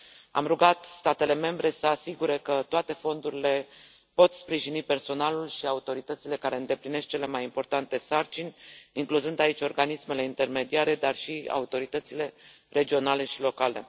Am rugat statele membre să asigure că toate fondurile pot sprijini personalul și autoritățile care îndeplinesc cele mai importante sarcini, incluzând aici organismele intermediare, dar și autoritățile regionale și locale.